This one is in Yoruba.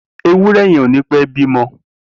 Éwùrẹ̀ yèn ó nipè bimọ